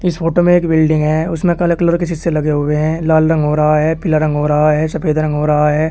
इस फोटो में एक बिल्डिंग है उसमें काले कलर के शीशे लगे हुए हैं लाल रंग हो रहा है पीला रंग हो रहा है सफेद रंग हो रहा है।